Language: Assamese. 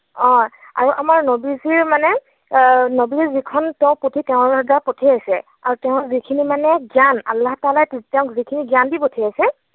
অ আৰু আমাৰ নৱী জীৰ মানে নৱীৰ যিখন তেওঁৰ যিখন পুথি, তেওঁৰ দ্বাৰা পঠিয়াইছে, আৰু তেওঁৰ যিখিনি মানে জ্ঞান, আল্লাহ তালাই তেওঁক যিখিনি জ্ঞান দি পঠিয়াইছে